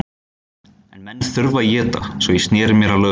En menn þurfa að éta, svo ég sneri mér að lögum.